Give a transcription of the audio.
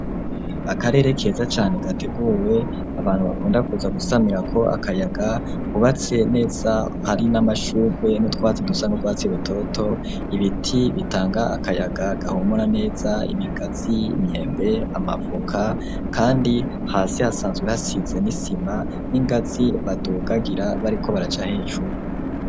Akarere keza cane gateguwe abantu bakunda kuza gusamira ko akayaga, hubatse neza hari n'amashugwe notwatse dusa n'ubwatse rutoto, ibiti bitanga akayaga gahumura neza imigazi, imyembe, amavoka, kandi hasi hasanzwe hasize n'isima n'ingatzi badugagira bariko baracahecuru.